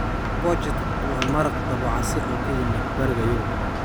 Borscht waa maraq dabocase oo ka yimid Bariga Yurub.